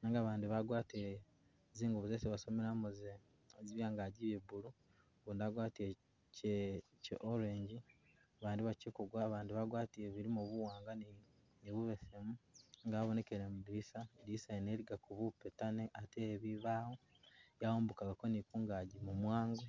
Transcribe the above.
nenga bandi bagwatile zingubo zesi basomelamu zene, zili angaji e blue, ugundi agwatile kye kye orange, bandi bakyikugwa abandi bagwatile bilimo buwanga ni bubesemu nga abonekele mwi dilisa, lidilisa lyene ilikako bupetane ate ebibawo yayambukako ni kungaji mumwango